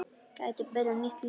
Geti byrjað nýtt líf.